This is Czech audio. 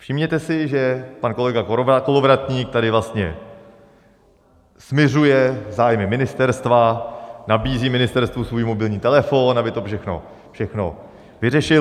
Všimněte si, že pan kolega Kolovratník tady vlastně smiřuje zájmy ministerstva, nabízí ministerstvu svůj mobilní telefon, aby to všechno vyřešil.